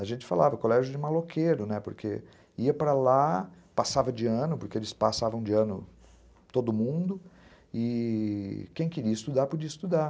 A gente falava, colégio de maloqueiro, né, porque ia para lá, passava de ano, porque eles passavam de ano todo mundo, e quem queria estudar podia estudar.